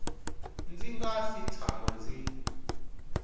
ndzi nga si tshama ndzi